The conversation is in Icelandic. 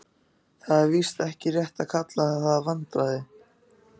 Það er víst ekki rétt að kalla það vandræði.